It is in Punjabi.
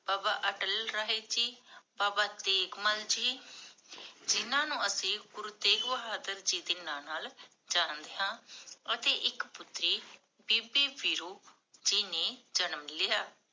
ਬਾਬਾ ਅਟਲ ਰਾਏ ਜੀ, ਬਾਬਾ ਤੇਗ ਮਲ ਜੀ, ਜਿੰਨਾ ਨੂੰ ਅਸੀਂ, ਗੁਰੂ ਤੇਗ ਬਹਾਦਰ ਜੀ ਦੇ ਨਾਂ ਨਾਲ ਜਾਣਦੇ ਹਾਂ, ਅਤੇ ਇਕ ਪੁਤਰੀ, ਬੀਬੀ ਵਿਰੁ ਜੀ ਨੇ ਜਨਮ ਲਿਆ।